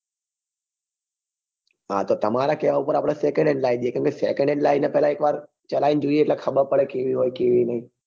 હા તો તમારા કેવા ઉપર આપડે second hand car લાવી દઈએ કેંમ કે second hand લઈએ તો પહેલા એક વાર ચલાઈ ને જોઈએ એટલે ખબર પડે કેવી હોય કેવી નહિ